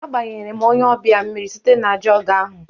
Agbanyere m onye ọbịa mmiri site na jọgụ ahụ